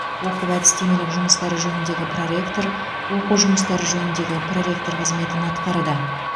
оқу әдістемелік жұмыстары жөніндегі проректор оқу жұмыстары жөніндегі проректор қызметін атқарды